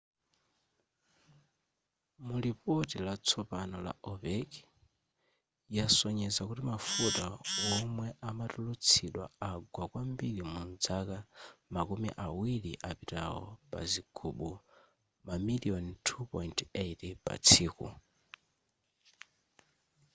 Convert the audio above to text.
mulipoti latsopano la opec yasonyeza kuti mafuta womwe amatulutsidwa agwa kwambiri mudzaka makumi awiri apitawo pa zigubu mamiliyoni 2.8 patsiku